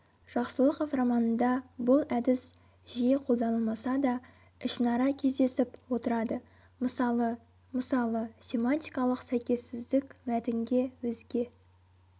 жақсылықов романында бұл әдіс жиі қолданылмаса да ішінара кездесіп отырады мысалы мысалы семантикалық сәйкессіздік мәтінге өзге